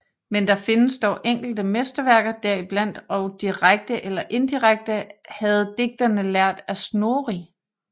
Men der findes dog enkelte mesterværker deriblandt og direkte eller indirekte havde digterne lært af Snorri